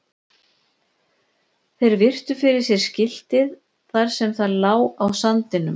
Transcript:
Þeir virtu fyrir sér skiltið þar sem það lá á sandinum.